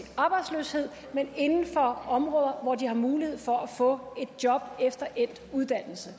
arbejdsløshed men inden for områder hvor de har mulighed for at få et job efter endt uddannelse